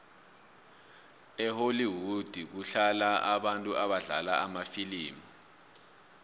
ehollwood kuhlala abantu abadlala kumafilimu